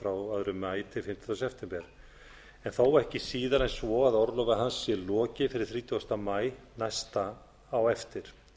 frá öðrum maí til fimmtánda september en þó ekki síðar en svo að orlofi hans sé lokið fyrir þrítugasta maí næsta á eftir